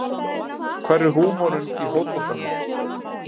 Hvar er húmorinn í fótboltanum